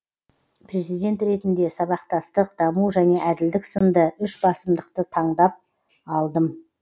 президент ретінде сабақтастық даму және әділдік сынды үш басымдықты таңдап алдым